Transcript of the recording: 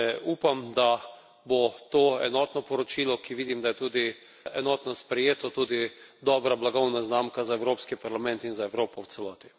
Upam, da bo to enotno poročilo, ki vidim, da je tudi enotno sprejeto, tudi dobra blagovna znamka za Evropski parlament in za Evropo v celoti.